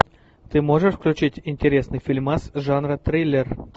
ты можешь включить интересный фильмас жанра триллер